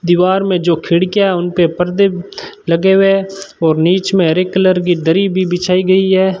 दीवार में जो खिड़कियां हैं उनपे परदे लगे हुए और नीच में हरे कलर की दरी भी बिछाई गई है।